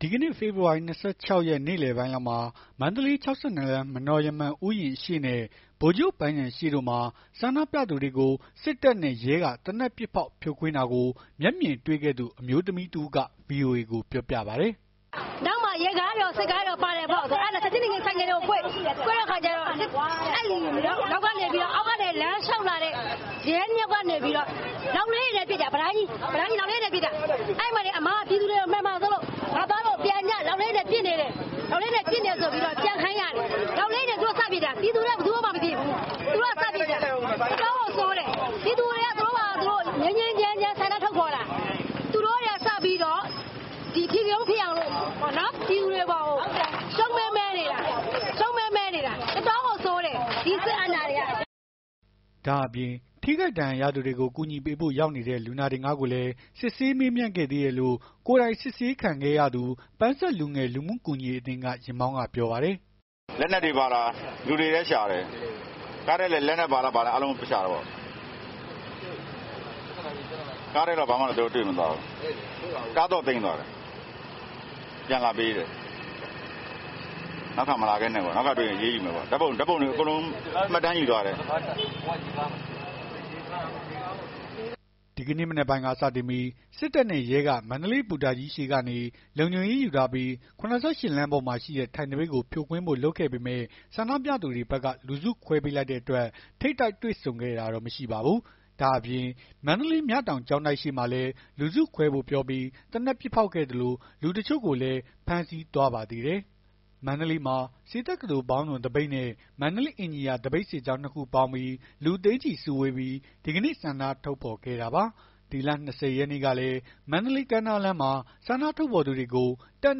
ဒီကနေ့ ဖေဖော်ဝါရီ ၂၆ ရက် နေ့လည်ပိုင်းလောက်မှာ မန္တလေး ၆၂ လမ်း မနော်ရမ္မံ ဥယျာဉ် အရှေ့နဲ့ ဗိုလ်ချုပ်ပန်းခြံ ရှေ့တို့မှာ ဆန္ဒပြသူတွေကို စစ်တပ်နဲ့ရဲက သေနတ်ပစ်ဖောက် ဖြိုခွင်းတာကို မျက်မြင်တွေ့ခဲ့သူ အမျိုးသမီးတစ်ဦးက ဗွီအိုအေကိုပြောပြပါတယ်။ “နောက်မှာ ရေကားတွေကော စစ်ကားတွေကောပါတယ်ပေါ့။ အဲ့ဒါနဲ့ ချက်ချင်းဆိုင်ကယ်တွေကို ကွေ့ တဲ့ အခါကျတော့ အောက်ကနေ လမ်းလျှောက်လာတဲ့ ရဲ ၂ ယောက်ကနေပြီးတော့ လောက်လေးတွေနဲ့ ပစ်တာ ဗလိုင်းကြီး အမက မှန်မှာဆိုးလို့ ငါ့သားတို့ပြန်ကြ လောက်လေးတွေနဲ့ ပစ်နေတယ်ဆိုပြီး ပြန်ခိုင်းရတယ်။ လောက်လေးတွေနဲ့ သူတို့စပစ်တာ ပြည်သူတွေက ဘယ်သူမှ မပစ်ဘူး။ အတော့်ကိုဆိုးတယ် ပြည်သူတွေက သူတို့ဘာသာ သူတို့ ငြိမ်းငြိမ်းချမ်းချမ်း ဆန္ဒထုတ်ဖော်တာ သူတို့တွေကစပြီး အထိကရုန်းဖြစ်အောင်လို့ ပြည်သူတွေအပေါ်ကို ရှုံးမဲမဲနေတာ။ အတော့်ကိုဆိုးတယ် စစ်အာဏာရှင်တွေက” ဒါ့အပြင် ထိခိုက်ဒဏ်ရာရသူတွေကို ကူညီပေးဖို့ ရောက်နေတဲ့ လူနာတင်ကားကိုလည်း စစ်ဆေးမေးမြန်းခဲ့သေးတယ်လို့ ကိုယ်တိုင် အစစ်ခံခဲ့ရသူ ပန်းဆက်လူငယ် လူမှုကူညီရေးအသင်းက ယာဉ်မောင်းက ပြောပါတယ်။ “လက်နက်တွေပါလား လူတွေလည်းရှာတယ်။ ကားထဲလည်း လက်နက်ပါလား ဘာလားရှာတော့ ကားထဲတော့ ဘာမှမတွေ့သွားဘူး။ ကားသော့သိမ်းသွားတယ် ပြန်လာပေးတယ်။ နောက်တခါမလာခဲ့နဲ့ နောက်တခါတွေ့ရင် အရေးယူမယ်ပေါ့။ ဓာတ်ပုံတွေ မှတ်တမ်းတွေ အကုန်ယူသွားတယ်။” ဒီကနေ့မနက်ပိုင်းကစတင်ပြီး စစ်တပ်နဲ့ရဲက မန္တလေးဘူတာကြီးရှေ့ကနေ လုံခြုံရေးယူထားပြီး ၇၈ လမ်းပေါ်မှာရှိတဲ့ ထိုင်သပိတ်ကို ဖြိုခွင်းဖို့ လုပ်ခဲ့ပေမယ့် ဆန္ဒပြသူတွေဘက်က လူစုခွဲပေးလိုက်တဲ့အတွက် ထိပ်တိုက် တွေ့ဆုံတာမရှိခဲ့ပါဘူး။ ဒါအပြင် မန္တလေး မြတောင် ကျောင်းတိုက်ရှေ့မှာလည်း လူစုခွဲဖို့ပြောပြီး သေနတ်ပစ်ဖောက်ခဲ့သလို လူတချို့ကိုလည်း ဖမ်းဆီးသွားပါသေးတယ်။ မန္တလေးမှာ ဆေးတက္ကသိုလ်ပေါင်းစုံသပိတ်နဲ့ မန္တလေး အင်ဂျင်နီယာ သပိတ်စစ်ကြောင်း ၂ ခုပေါင်းပြီး လူသိန်းချီစုဝေးပြီး ဒီကနေ့ ဆန္ဒထုတ်ဖော်ခဲ့တာပါ။ ဒီလ ၂၀ ရက်နေ့ကလည်း မန္တလေး ကမ်းနားလမ်းမှာ ဆန္ဒထုတ်ဖော်သူတွေကို တပ်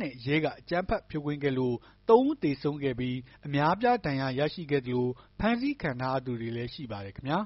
နဲ့ရဲက အကြမ်းဖက်ဖြိုခွင်းခဲ့လို့ ၃ ဦးသေဆုံးခဲ့ပြီး အများအပြား ဒဏ်ရာရရှိခဲ့သလို ဖမ်းဆီးခံထားရသူတွေလည်း ရှိပါတယ်ခင်ဗျာ